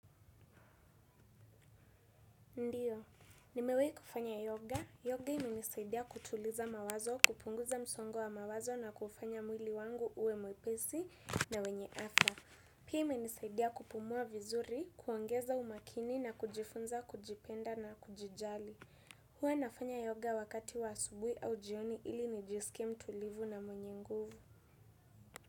Ndio. Nimewahi kufanya yoga. Yoga imenisaidia kutuliza mawazo, kupunguza msongo wa mawazo na kufanya mwili wangu uwe mwepesi na wenye afya. Pia imenisaidia kupumua vizuri, kuongeza umakini na kujifunza, kujipenda na kujijali. Huwa nafanya yoga wakati wa asubuhi au jioni ili nijisike mtulivu na mwenye nguvu.